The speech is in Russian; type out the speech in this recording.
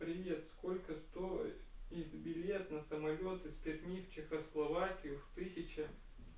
привет сколько стоит их билет на самолёт из перми в чехословакию тысяча